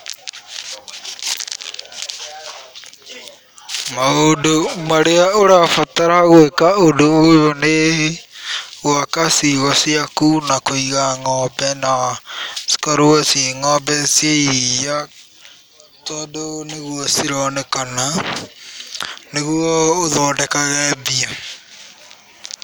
Maũndũ marĩa ũrabatara gwĩka ũndũ ũyũ nĩ gũaka ciugũ ciaku na kũiga ng'ombe na cikorwo ciĩ ng'ombe cia iria, tondũ nĩguo cironekana nĩguo ũthondekage mbia.